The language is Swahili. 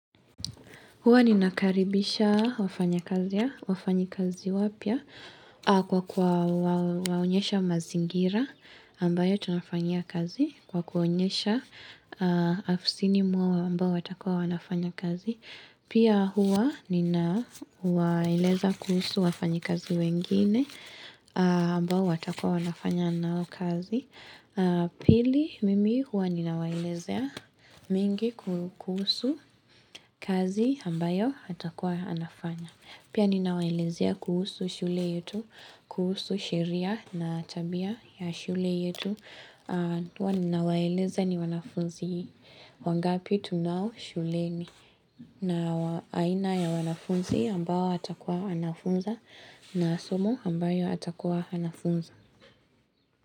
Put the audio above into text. Huwa ninakaribisha wafanyakazi wafanyikazi wapya kwa kuwaonyesha mazingira ambayo tunafanyia kazi kwa kuwaonyesha afisini mwao ambao watakua wanafanya kazi. Pia huwa ninawaeleza kuhusu wafanyikazi wengine ambao watakua wanafanya nao kazi. Pili mimi huwa ninawaelezea mingi kuhusu kazi ambayo atakuwa anafanya. Pia ninawaelezea kuhusu shule yetu, kuhusu sheria na tabia ya shule yetu Ninawaeleza ni wanafunzi wangapi tunao shuleni na aina ya wanafunzi ambao atakuwa anafunza na somo ambayo atakuwa anafunza.